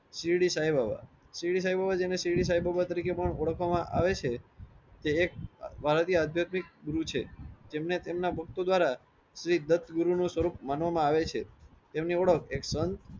શેરડી સાઈ બાબા શેરડી સાઈ બાબા જેમ કે શેરડી સાઈ બાબા તરીકે પણ ઓળખવામાં આવે છે. તે એક ધારો કે એક આધ્યાત્મિક ગુરુ છે જેમને તેમના ભક્તો દ્વારા શ્રી દત્ત વીરુ નો સ્વરુપ માનવામાં આવે છે. તેમની ઓળખ એક સંત